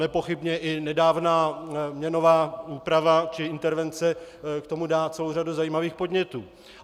Nepochybně i nedávná měnová úprava či intervence k tomu dá celou řadu zajímavých podnětů.